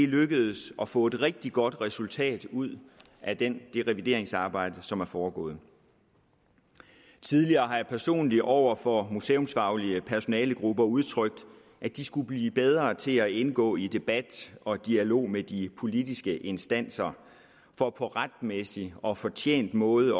lykkedes at få et rigtig godt resultat ud af det revideringsarbejde som er foregået tidligere har jeg personlig over for museumsfaglige personalegrupper udtrykt at de skulle blive bedre til at indgå i debat og dialog med de politiske instanser for på retmæssig og fortjent måde